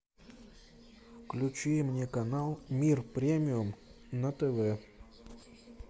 включи мне канал мир премиум на тв